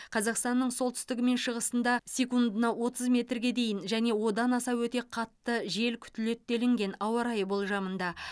қазақстанның солтүстігі мен шығысында секундына отыз метрге дейін және одан аса өтте қатты жел күтіледі деліген ауа райы болжамында